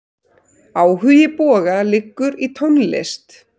Áhugi Boga liggur í tónlist.